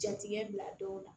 Jatigɛ bila dɔw la